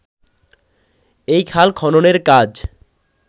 এই খাল খননের কাজ